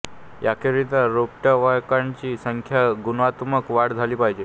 याकरिता रोपवाटिकांची संख्या व गुणात्मक वाढ झाली पाहिजे